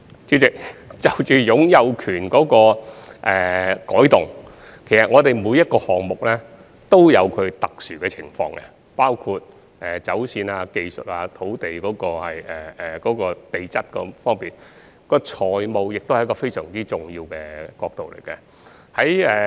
主席，關於擁有權模式的改動，其實每個項目均有其特殊情況，包括走線、技術、地質等方面，而財務亦是非常重要的角度。